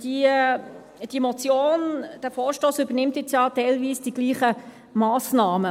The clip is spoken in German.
Diese Motion, dieser Vorstoss übernimmt ja jetzt teilweise dieselben Massnahmen.